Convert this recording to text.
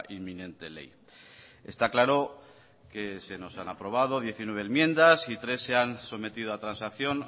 inminente ley está claro que se nos han aprobado diecinueve enmiendas y tres se han sometido a transacción